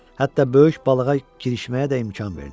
Hətta böyük balığa girişməyə də imkan verdi.